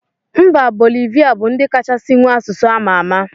Mba bolivia bu ndi kachasi nwee asụsụ amama.